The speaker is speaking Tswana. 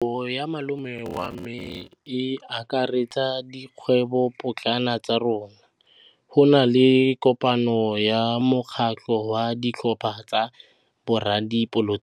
Kgwêbô ya malome wa me e akaretsa dikgwêbôpotlana tsa rona. Go na le kopanô ya mokgatlhô wa ditlhopha tsa boradipolotiki.